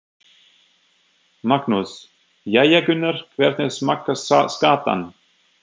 Magnús: Jæja Gunnar, hvernig smakkast skatan?